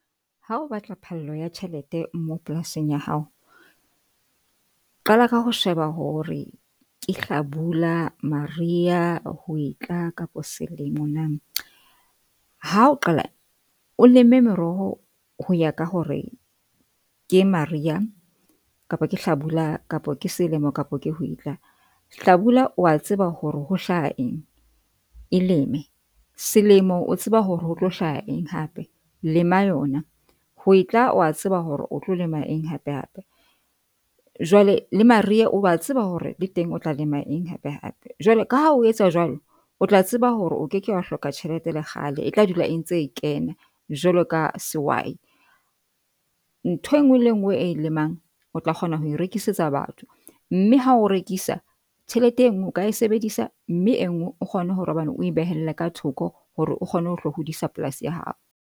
Ha o batla phallo ya tjhelete mo polasing ya hao, qala ka ho sheba hore ke hlabula, mariha, hwetla kapo selemo na. Ha o qala o leme meroho ho ya ka hore ke mariha kapa ke hlabula kapa ke selemo, kapa ke hwetla. Hlabula wa tseba hore ho hlaha eng e leme selemo, o tseba hore ho tlo hlaha eng hape lema yona, hwetla o a tseba hore o tlo lema eng hape hape. Jwale le mariha oa tseba hore le teng o tla lema eng hape hape jwale ka ha o etsa jwalo, o tla tseba hore o ke ke wa hloka tjhelete le kgale e tla dula e ntse kena jwalo ka sehwai. Ntho e nngwe le e nngwe e e lemang, o tla kgona ho e rekisetsa batho. Mme ha o rekisa tjhelete e nngwe o ka e sebedisa mme e nngwe o kgone hore hobane o behele ka thoko hore o kgone ho tlo hodisa polasi ya hao.